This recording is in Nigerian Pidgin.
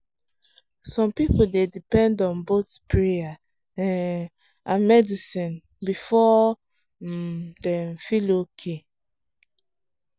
some people dey depend on both prayer um and medicine before um dem feel okay.